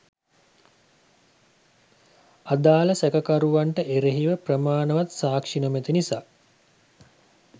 අදාළ සැකකරුවන්ට එරෙහිව ප්‍රමාණවත් සාක්ෂි නොමැති නිසා